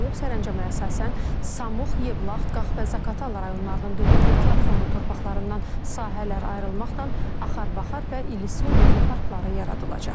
Sərəncama əsasən Samux, Yevlax, Qax və Zaqatala rayonlarının dövlət ehtiyat fondu torpaqlarından sahələr ayrılmaqla Axar-Baxar və İllisu Milli parkları yaradılacaq.